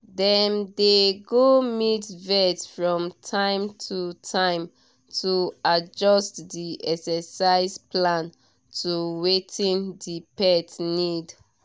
dem dey go meet vet from time to time to adjust the exercise plan to wetin the pet need